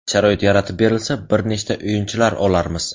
Sharoit yaratib berilsa bir nechta o‘yinchilar olarmiz.